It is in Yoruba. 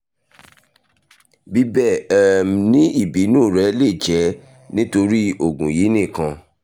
bíbẹ um ni ibinu rẹ le jẹ nitori oogun yii nikan